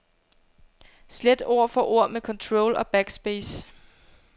Slet ord for ord med control og backspace.